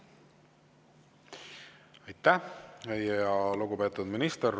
Aitäh, lugupeetud minister!